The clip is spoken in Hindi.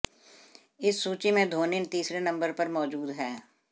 इस सूची में धोनी तीसरे नंबर पर मौजूद हैं